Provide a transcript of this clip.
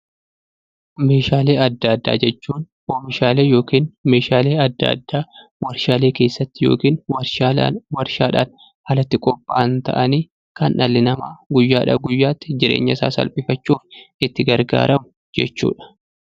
Meeshaalee adda addaa jechuun oomishaalee yookiin meeshaalee adda addaa warshaalee keessatti yookiin warshaadhaan alatti qophaa'an ta'anii kan dhalli namaa guyyaadha guyyaatti jireenya isaa salphifachuuf itti gargaaramu jechuudha.